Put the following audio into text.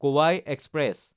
কোৱাই এক্সপ্ৰেছ